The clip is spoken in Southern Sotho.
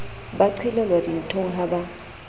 ba qelelwa dinthong ha ba